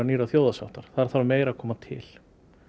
nýrrar þjóðarsáttar þar þarf meira að koma til